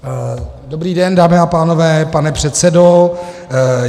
Dobrý den, dámy a pánové, pane předsedo.